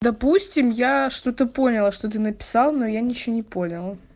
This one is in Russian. допустим я что-то поняла что ты написал но я ничего не поняла